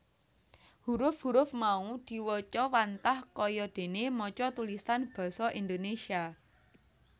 Huruf huruf mau diwaca wantah kaya dene maca tulisan Basa Indonesia